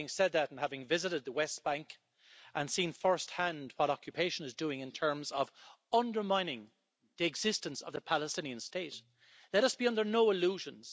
But having said that, and having visited the West Bank and seen first-hand what occupation is doing in terms of undermining the existence of the Palestinian state, let us be under no illusions.